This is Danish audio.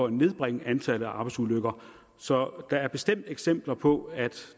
at nedbringe antallet af arbejdsulykker så der er bestemt eksempler på at